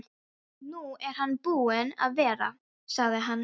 Nú er hann búinn að vera, sagði hann.